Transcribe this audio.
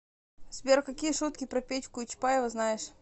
сбер какие шутки про петьку и чапаева знаешь